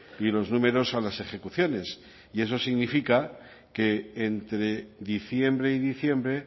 y los números a las ejecuciones y eso significa que entre diciembre y diciembre